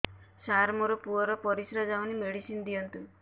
ସାର ମୋର ପୁଅର ପରିସ୍ରା ଯାଉନି ମେଡିସିନ ଦିଅନ୍ତୁ